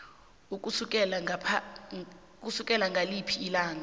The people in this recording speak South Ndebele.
ukusukela ngaliphi ilanga